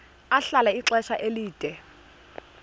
ahlala ixesha elide